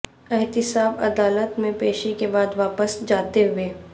احتساب عدالت میں پیشی کے بعد واپس جاتے ہوئے